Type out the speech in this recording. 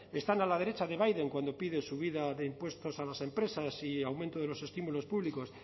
están a la derecha de biden cuando piden subida de impuestos a las empresas y aumento de los estímulos públicos